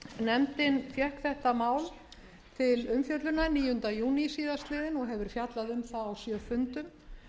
nefndin fékk þetta mál til umfjöllunar níunda júlí síðastliðinn og hefur fjallað hjá það á sjö fundum